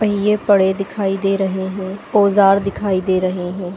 पहिए पड़े दिखाई दे रहे हैं औजार दिखाई दे रहे हैं।